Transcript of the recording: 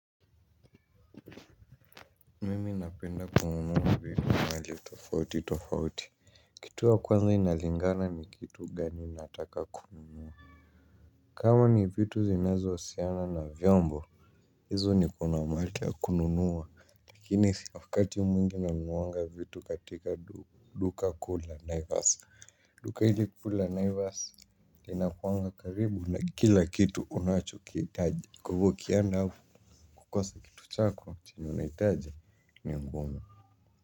Mimi napenda kununua vitu mahali tofauti tofauti. Kitu ya kwanza inalingana ni kitu gani nataka kununua. Kama ni vitu zinazohusiana na vyombo hizo niko na mahali ya kununua. Lakini wakati mwingi nanunuanga vitu katika duka kuu la Naivas. Duka hili kuu la Naivas Linakuanga karibu na kila kitu unachokihitaji kwa hivyo ukienda hapo, kukosa kitu chako chenye unahitaji ni ngumu.